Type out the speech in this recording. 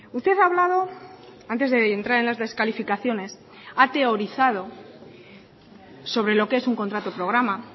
usted ha hablado antes de entrar en las descalificaciones ha teorizado sobre lo que es un contrato programa